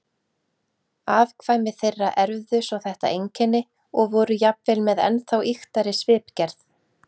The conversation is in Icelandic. Afkvæmi þeirra erfðu svo þetta einkenni og voru jafnvel með ennþá ýktari svipgerð.